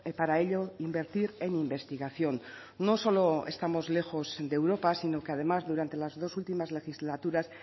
para ello invertir en investigación no solo estamos lejos de europa sino que además durante las dos últimas legislaturas